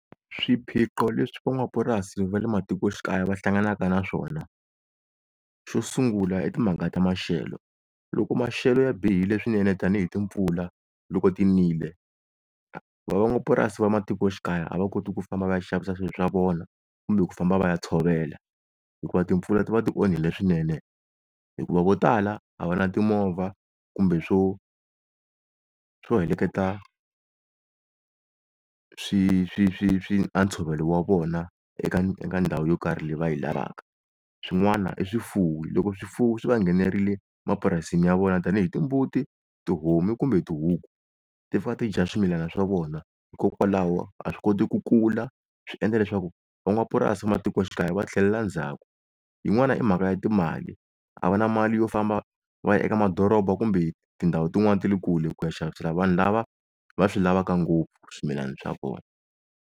Swiphiqo leswi van'wamapurasi va le matikoxikaya va hlanganaka na swona. Xo sungula i timhaka ta maxelo loko maxelo ya bihile swinene tanihi timpfula loko ti nile va n'wamapurasi va matikoxikaya a va koti ku famba va ya xavisa swilo swa vona kumbe ku famba va ya tshovela hikuva timpfula ti va ti onhile swinene, hikuva vo tala a va na timovha kumbe swo swo heleketa swi a ntshovelo wa vona eka ndhawu yo karhi leyi va yi lavaka. Swin'wana i swifuwo loko swifuwo swi va nghenerile mapurasini ya vona tani hi timbuti, tihomu kumbe tihuku ti fika ti dya swimilana swa vona, hikokwalaho a swi koti ku kula swi endla leswaku va n'wamapurasi matikoxikaya va tlhela ndzhaku. Yin'wana i mhaka ya timali a va na mali yo famba va ya eka madoroba kumbe tindhawu tin'wani ta le kule ku ya xavisela vanhu lava va swi lavaka ngopfu swimilana swa vona.